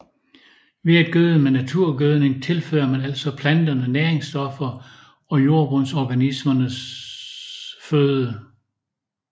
Ved at gøde med naturgødning tilfører man altså planterne næringsstoffer og jordbundsorganismerne føde